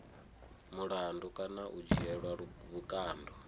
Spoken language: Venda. mulandu kana u dzhielwa vhukando